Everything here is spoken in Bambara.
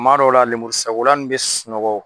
Kuma dɔ la, lemuru sakola nin bɛ sunɔgɔ